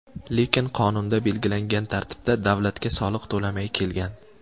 Lekin qonunda belgilangan tartibda davlatga soliq to‘lamay kelgan.